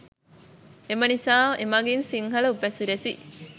එම නිසා එමඟින් සිංහල උපසිරැසි